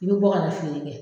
I bi bɔ ka na feere kɛ